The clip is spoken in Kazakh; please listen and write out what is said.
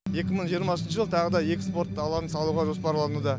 екі мың жиырмасыншы жылы тағы да екі спорт алаңын салуға жоспарлануда